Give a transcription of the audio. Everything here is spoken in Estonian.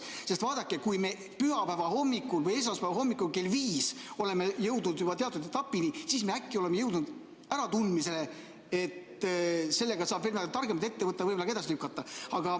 Sest vaadake, kui me pühapäeva hommikul või esmaspäeva hommikul kell viis oleme jõudnud juba teatud etapini, siis me äkki oleme jõudnud äratundmisele, et sellega saab midagi targemat ette võtta, võib-olla ka edasi lükata.